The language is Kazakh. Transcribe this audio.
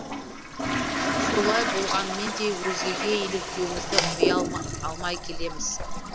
солай болғанымен де өзгеге еліктеуімізді қоя алмай келеміз